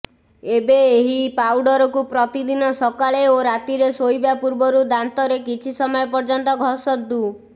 ଏବେ ଏହି ପାଉଡ଼ରକୁ ପ୍ରତିଦିନ ସକାଳେ ଓ ରାତିରେ ଶୋଇବା ପୂର୍ବରୁ ଦାନ୍ତରେ କିଛି ସମୟ ପର୍ଯ୍ୟନ୍ତ ଘଷନ୍ତୁ